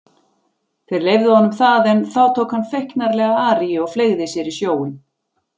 Þeir leyfðu honum það en þá tók hann feiknarlega aríu og fleygði sér í sjóinn.